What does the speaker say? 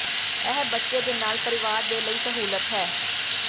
ਇਹ ਬੱਚੇ ਦੇ ਨਾਲ ਪਰਿਵਾਰ ਦੇ ਲਈ ਸਹੂਲਤ ਹੈ